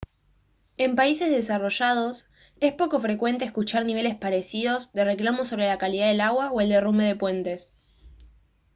en países desarrollados es poco frecuente escuchar niveles parecidos de reclamos sobre la calidad del agua o el derrumbe de puentes